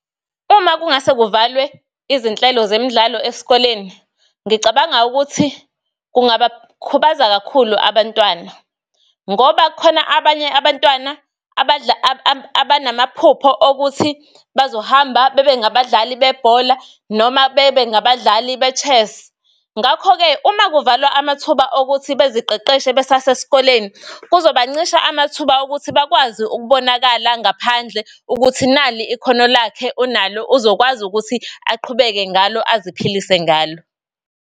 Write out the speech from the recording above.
Uma kungase kuvalwe izinhlelo zemidlalo esikoleni, ngicabanga ukuthi kungaba khubaza kakhulu abantwana. Ngoba kukhona abanye abantwana abanamaphupho okuthi bazohamba bebe ngabadlali bebhola, noma bebe ngabadlali be-chess. Ngakho-ke uma kuvalwa amathuba okuthi beziqeqeshe besase esikoleni kuzoba ncisha amathuba okuthi bakwazi ukubonakala ngaphandle ukuthi nali ikhono lakhe, unalo, uzokwazi ukuthi aqhubeke ngalo, aziphilisa ngalo.